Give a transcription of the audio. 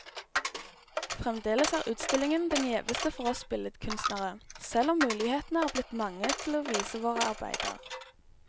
Fremdeles er utstillingen den gjeveste for oss billedkunstnere, selv om mulighetene er blitt mange til å vise våre arbeider.